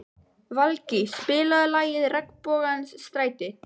Valgý, spilaðu lagið „Regnbogans stræti“.